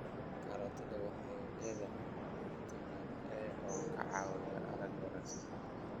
Karootada waxay leedahay fitamiin A oo ka caawiya aragga wanaagsan.